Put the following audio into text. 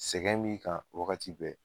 Sɛgɛn b'i kan wagati bɛɛ